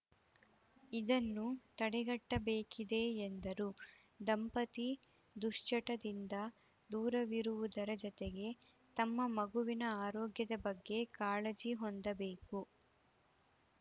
ಇದನ್ನು ತಡೆಗಟ್ಟಬೇಕಿದೆ ಎಂದರು ದಂಪತಿ ದುಶ್ಚಟದಿಂದ ದೂರವಿರುವುದರ ಜತೆಗೆ ತಮ್ಮ ಮಗುವಿನ ಆರೋಗ್ಯದ ಬಗ್ಗೆ ಕಾಳಜಿ ಹೊಂದಬೇಕು